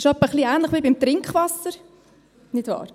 Das ist ein wenig ähnlich wie beim Trinkwasser, nicht wahr.